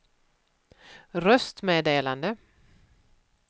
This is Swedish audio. röstmeddelande